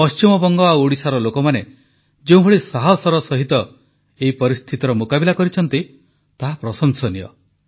ପଶ୍ଚିମବଙ୍ଗ ଓ ଓଡ଼ିଶାର ଲୋକମାନେ ଯେଉଁଭଳି ସାହସର ସହିତ ଏହି ପରିସ୍ଥିତିର ମୁକାବିଲା କରିଛନ୍ତି ତାହା ପ୍ରଶଂସନୀୟ